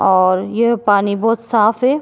और ये पानी बहुत साफ है।